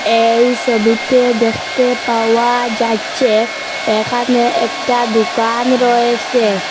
এই সবিটে দেখতে পাওয়া যাচ্ছে এখানে একটা দোকান রয়েসে ।